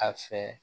A fɛ